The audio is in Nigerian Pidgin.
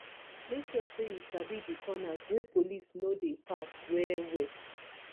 make sure say you sabi di corners wey police no de pass well well